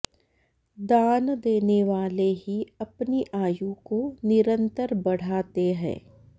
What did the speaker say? दान देने वाले ही अपनी आयु को निरन्तर बढ़ाते हैं